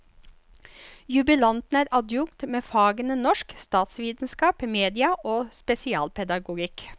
Jubilanten er adjunkt med fagene norsk, statsvitenskap, media og spesialpedagogikk.